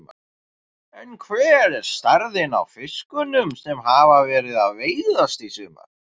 En hver er stærðin á fiskunum sem hafa verið að veiðast í sumar?